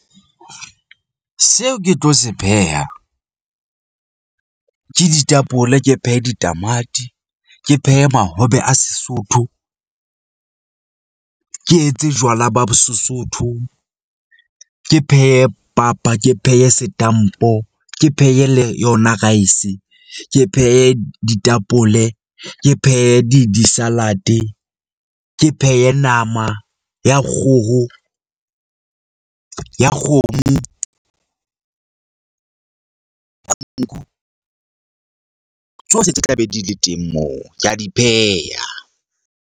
Seo ke tlo se pheha ke ditapole. Ke phehe ditamati. Ke phehe mahobe a Sesotho. Ke etse jwala ba Sesotho . Ke phehe papa, ke phehe setampo, Ke phehe le yona rice. Ke phehe ditapole, Ke phehe di di-salad-e. Ke phehe nama ya kgoho ya kgomo . Tsohle tse tla be di le teng moo ke a di pheha.